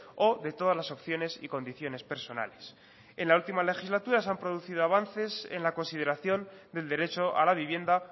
o de todas las opciones y condiciones personales en la última legislatura se han producido avances en la consideración del derecho a la vivienda